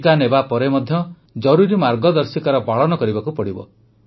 ଟିକା ନେବାପରେ ମଧ୍ୟ ଜରୁରୀ ମାର୍ଗଦର୍ଶିକାର ପାଳନ କରିବାକୁ ହେବ